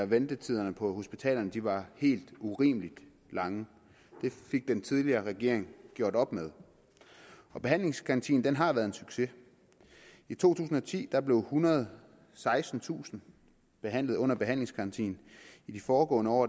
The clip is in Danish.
ventetiderne på hospitalerne var helt urimeligt lange det fik den tidligere regering gjort op med behandlingsgarantien har været en succes i to tusind og ti blev ethundrede og sekstentusind behandlet under behandlingsgarantien i de foregående år